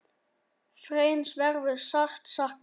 Þráins verður sárt saknað.